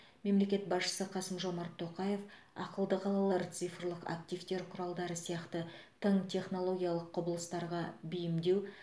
мемлекет басшысы қасым жомарт тоқаев ақылды қалалар цифрлық активтер құралдары сияқты тың технологиялық құбылыстарға бейімдеу